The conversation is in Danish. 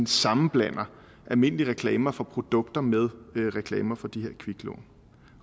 sammenblander almindelige reklamer for produkter med reklamer for de her kviklån